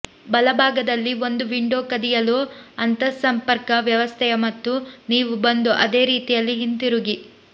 ಬಲಭಾಗದಲ್ಲಿ ಒಂದು ವಿಂಡೋ ಕದಿಯಲು ಅಂತಸ್ಸಂಪರ್ಕ ವ್ಯವಸ್ಥೆಯ ಮತ್ತು ನೀವು ಬಂದು ಅದೇ ರೀತಿಯಲ್ಲಿ ಹಿಂತಿರುಗಿ